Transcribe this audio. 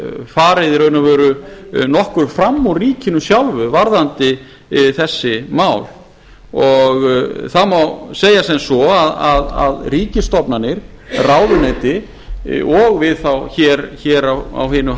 farið í raun og veru nokkuð fram úr ríkinu sjálfu varðandi þessi mál og það má segja sem svo að ríkisstofnanir ráðuneyti og við þá hér á hinu